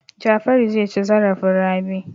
Jafaru zai ci zarafin Rabi.